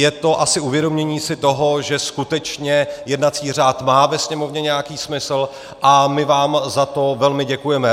Je to asi uvědomění si toho, že skutečně jednací řád má ve Sněmovně nějaký smysl, a my vám za to velmi děkujeme.